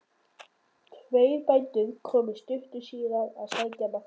Tveir bændur komu stuttu síðar að sækja Martein.